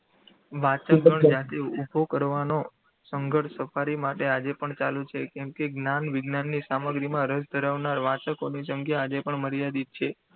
વાંચગણ જાતે ઉભો કરવાનો સંઘર્ષ સફારી માટે આજે પણ ચાલુ છે. કેમકે જ્ઞાન વિજ્ઞાનની સામગ્રીમાં રસ ધરાવનાર વાચકોની સંખ્યા આજે પણ મર્યાદિત છે.